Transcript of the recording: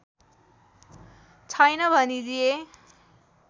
छैन भनिदिए